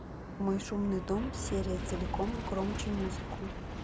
мой шумный дом серия целиком громче музыку